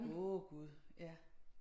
Åh Gud ja